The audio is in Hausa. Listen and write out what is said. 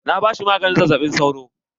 Na ba shi maganin zazzaɓin sauro.